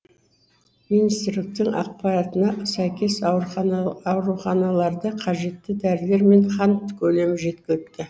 министрліктің ақпаратына сәйкес ауруханаларда қажетті дәрілер мен қан көлемі жеткілікті